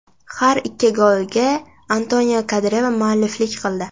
Har ikki golga Antonio Kandreva mualliflik qildi.